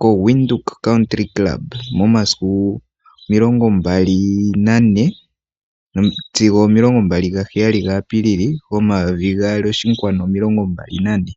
ko koWindhoek Country Club momasiku 24-27 Apilili 2024.